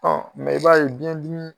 Ɔ i b'a ye biɲɛ dimi.